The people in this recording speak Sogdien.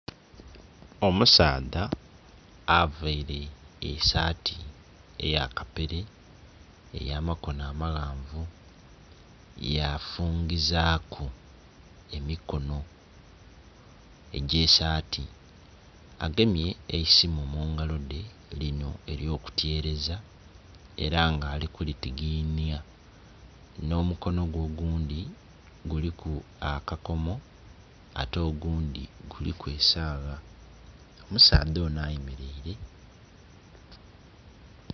Omusaadha availe esaati eya kapere, ey'amakono amaghanvu yafungizaaku emikono egy'esaati. Agemye eisimu mu ngalo dhe lino ery'okutyereza era nga ali kulitiginya. Nh'omukono gwe ogundhi guliku akakomo, ate ogundhi guliku esagha. Omusaadha ono ayemeleire.